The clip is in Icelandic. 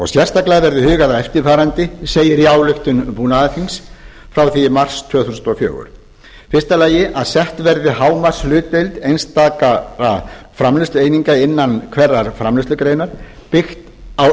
sérstaklega verði hugað að eftirfarandi segir í ályktun búnaðarþings frá því í mars tvö þúsund og fjögur fót úr kb fyrstu að sett verði hámarkshlutdeild einstaka framleiðslueininga innan hverrar framleiðslugreinar byggt á